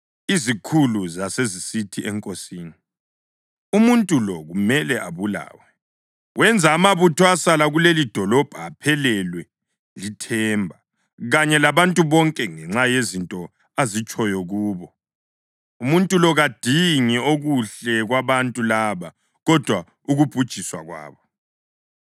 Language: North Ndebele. Izikhulu zasezisithi enkosini, “Umuntu lo kumele abulawe. Wenza amabutho asala kulelidolobho aphelelwe lithemba, kanye labantu bonke, ngenxa yezinto azitshoyo kubo. Umuntu lo kadingi okuhle kwabantu laba, kodwa ukubhujiswa kwabo.”